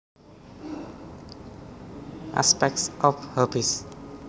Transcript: Aspects of Hobbes